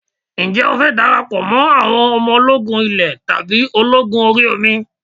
Ǹjẹ́ o fẹ́ darapọ̀ mọ́ àwọn ọmọ ológun ilé tàbí ológun orí omi?